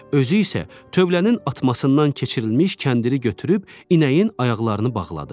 Özü isə tövlənin atmasından keçirilmiş kəndiri götürüb inəyin ayaqlarını bağladı.